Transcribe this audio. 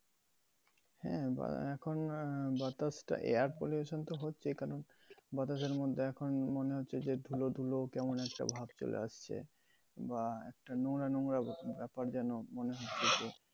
হ্যাঁ, এখন আহ বাতাস টা air pollution তো হচ্ছেই কারণ বাতাসের মধ্যে এখন মনে হচ্ছে যে ধুলো ধুলো কেমন একটা ভাব চলে আসছে। বা একটা নোংরা নোংরা ব্যাপার যেন মনে হচ্ছে যে